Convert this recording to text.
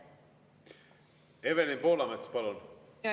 Evelin Poolamets, palun!